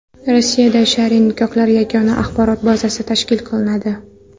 Rossiyada shar’iy nikohlar yagona axborot bazasi tashkil qilinadi.